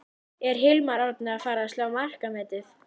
Er Hilmar Árni að fara að slá markametið?